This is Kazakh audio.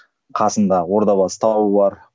қасында ордабасы тауы бар